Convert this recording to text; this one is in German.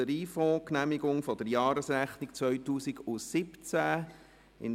«Lotteriefonds Genehmigung der Jahresrechnung 2017».